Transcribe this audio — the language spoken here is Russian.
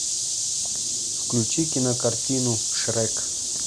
включи кинокартину шрек